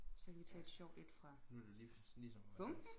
Så kan vi tage et sjovt et fra bunken